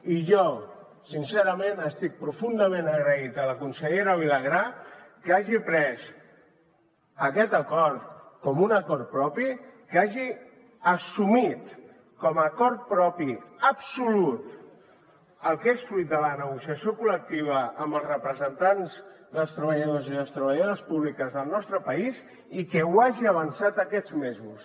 i jo sincerament estic profundament agraït a la consellera vilagrà que hagi pres aquest acord com un acord propi que hagi assumit com a acord propi absolut el que és fruit de la negociació col·lectiva amb els representants dels treballadors i les treballadores públiques del nostre país i que ho hagi avançat aquests mesos